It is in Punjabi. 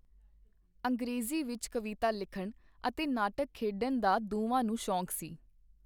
ਅੰਗਰੇਜ਼ੀ ਵਿਚ ਕਵਿਤਾ ਲਿਖਣ ਅਤੇ ਨਾਟਕ ਖੇਡਣ ਦਾ ਦੋਵਾਂ ਨੂੰ ਸ਼ੌਕ ਸੀ.